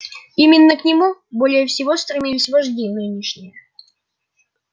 именно к нему более всего стремились вожди нынешние